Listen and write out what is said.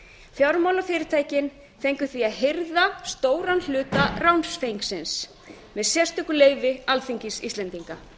fjármálafyrirtækin fengu því að hirða stóran hluta ránsfengsins með sérstöku leyfi alþingis íslendinga